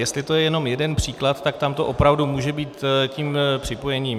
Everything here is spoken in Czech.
Jestli to je jenom jeden příklad, tak tam to opravdu může být tím připojením.